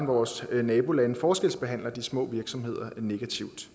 vores nabolande forskelsbehandler de små virksomheder negativt